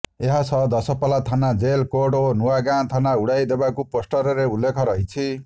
ଏହାସହ ଦଶପଲ୍ଲା ଥାନା jail court ଓ ନୂଆ ଗାଁ ଥାନା ଉଡାଇ ଦେବାକୁ ପୋଷ୍ଟରରେ ଉଲ୍ଲେଖ ରହିଛି